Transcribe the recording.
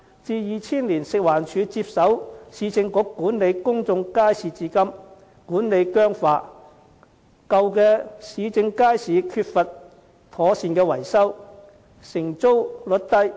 自2000年食環署接手原由市政局管理的公眾街市至今，管理僵化，舊的市政街市缺乏妥善維修，承租率低。